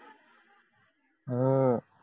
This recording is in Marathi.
हम्म